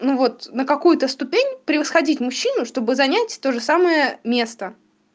ну вот на какую-то ступень превосходить мужчину чтобы занять то же самое место